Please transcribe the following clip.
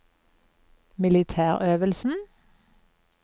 militærøvelsen